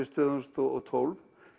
tvö þúsund og tólf